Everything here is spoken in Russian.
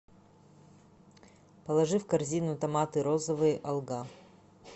положи в корзину томаты розовые алга